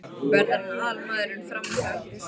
Verður hann aðalmaðurinn frammi hjá ykkur í sumar?